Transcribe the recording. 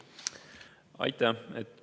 Aitäh!